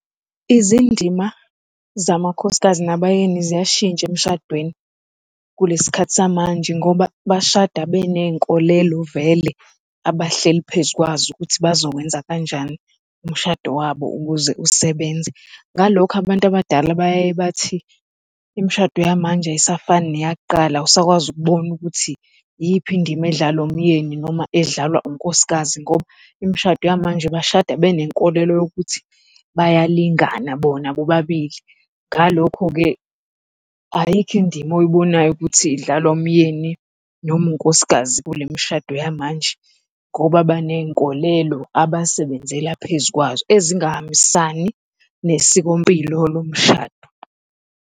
Izindima zamakhosikazi nabayeni ziyashintsha emshadweni kulesikhathi samanje ngoba bashada benezinkolelo vele abahleli phezu kwazo ukuthi bazokwenza kanjani umshado wabo ukuze usebenze. Ngalokho abantu abadala bayaye bathi, imishado yamanje ayisafani neyakuqala, awusakwazi ukubona ukuthi iyiphi indima edlalwa umyeni noma edlalwa unkosikazi ngoba imishado yamanje bashada benenkolelo yokuthi bayalingana bona bobabili. Ngalokho-ke ayikho indima oyibonayo ukuthi idlalwa umyeni noma unkosikazi kule mishado yamanje ngoba baney'nkolelo abasebenzela phezu kwazo, ezingahambisani nesikompilo lomshado.